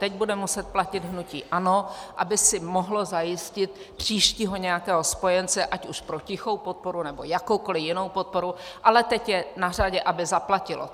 Teď bude muset platit hnutí ANO, aby si mohlo zajistit příštího nějakého spojence, ať už pro tichou podporu, nebo jakoukoli jinou podporu, ale teď je na řadě, aby zaplatilo.